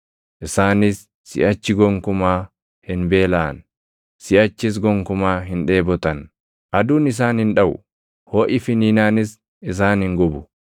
‘Isaanis siʼachi gonkumaa hin beelaʼan; siʼachis gonkumaa hin dheebotan. Aduun isaan hin dhaʼu;’ + 7:16 \+xt Isa 49:10\+xt* hoʼi finiinaanis isaan hin gubu.